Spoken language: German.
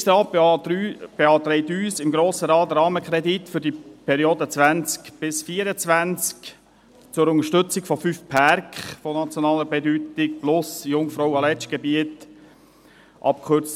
Der Regierungsrat beantragt dem Grossen Rat, den Rahmenkredit für die Periode 2020–2024 zur Unterstützung von fünf Pärken von nationaler Bedeutung und für das Jungfrau-/Aletsch-Gebiet, abgekürzt